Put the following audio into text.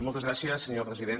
moltes gràcies senyor president